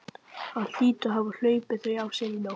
Hann hlýtur að hafa hlaupið þau af sér í nótt.